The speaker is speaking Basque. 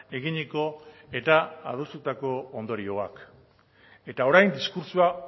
eginiko eta adostutako ondorioak eta orain diskurtsoa